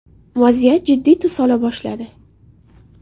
Vaziyat jiddiy tus ola boshladi.